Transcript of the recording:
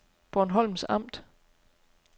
Bornholms Amt